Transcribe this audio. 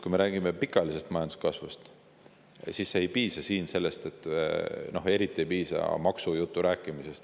Kui me räägime pikaajalisest majanduskasvust, siis siin ei piisa maksujutu rääkimisest.